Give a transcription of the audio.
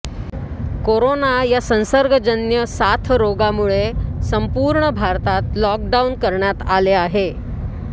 corona या संसर्गजन्य साथरोगामुळे संपूर्ण भारतात लॉक डाऊन करण्यात आले आहे